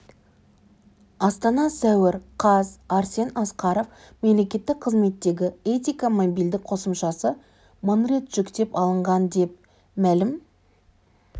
астана сәуір қаз арсен асқаров мемлекеттік қызметтегі этика мобильді қосымшасы мың рет жүктеп алынған деп мәлім